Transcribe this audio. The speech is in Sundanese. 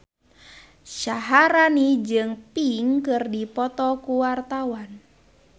Syaharani jeung Pink keur dipoto ku wartawan